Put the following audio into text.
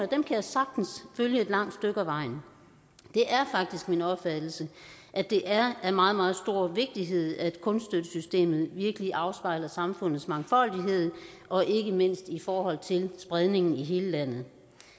kan jeg sagtens følge et langt stykke ad vejen det er faktisk min opfattelse at det er af meget meget stor vigtighed at kunststøttesystemet virkelig afspejler samfundets mangfoldighed og ikke mindst i forhold til spredningen i hele landet